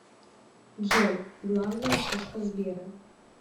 джой главная шишка сбера